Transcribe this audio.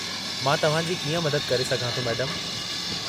मां तव्हां जी कीअं मदद करे सघां थो, मैडमु?